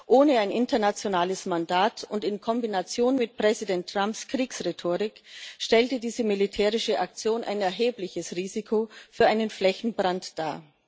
Ohne ein internationales Mandat und in Kombination mit Präsident Trumps Kriegsrhetorik stellte diese militärische Aktion ein erhebliches Risiko für einen Flächenbrand dar.